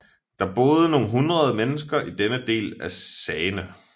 Der bor nogle hundrede mennesker i denne del af Sagene